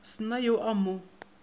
se na yo a mo